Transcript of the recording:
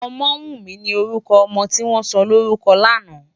Omowunmi ni órùkò òmò tiwòn sòlórúkò làná